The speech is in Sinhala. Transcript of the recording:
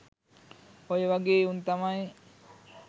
ඔය වගෙ උන් තමයි